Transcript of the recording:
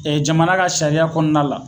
jamana ka sariya kɔnɔna la